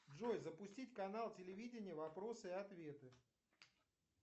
джой запустить канал телевидения вопросы и ответы